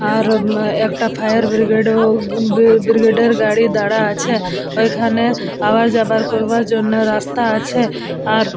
আর একটা fire brigade ও উহ্হঃ বব ব্রিগেড -এর গাড়ী দারা আছে ওইখানে আবাজবার করবার জন্য রাস্তা আছে আর।